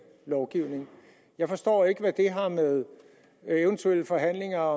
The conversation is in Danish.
lovgivning jeg forstår ikke hvad det har med eventuelle forhandlinger